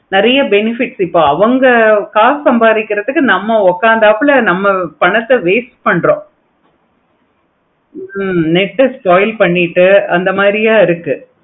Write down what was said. நெறைய benefit இருக்கு. அவங்க காசு சம்பாதிக்கிறதுக்கு நம்ம உட்காந்தப்புல நம்ம பணத்தை waste பன்றோம். ஹம் net spoil பண்ணிட்டு அந்த மாதிரியா இருக்கு.